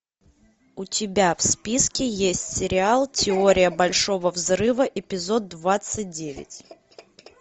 у тебя в списке есть сериал теория большого взрыва эпизод двадцать девять